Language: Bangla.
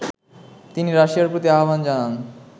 তিনি রাশিয়ার প্রতি আহ্বান জানান